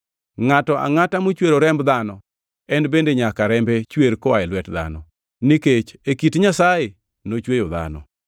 “Ngʼato angʼata mochwero remb dhano, en bende nyaka rembe chwer koa e lwet dhano; nikech e kit Nyasaye nochweyo dhano.